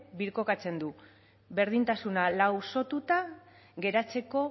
birkokatzen du berdintasuna lausotuta geratzeko